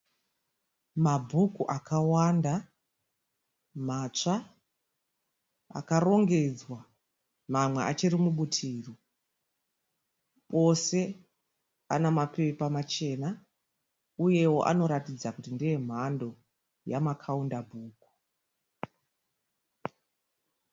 Mabhuku akawanda matsva, akarongedzwa, mamwe achiri mubutiro. Ose anamapepa machena, uyewo anoratidza kuti ndeemhando yamakaunda bhuku.